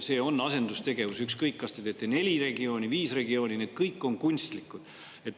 See on asendustegevus, ükskõik, kas te teete neli regiooni või viis regiooni, need kõik on kunstlikud.